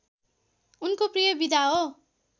उनको प्रिय विधा हो